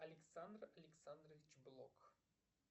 александр александрович блок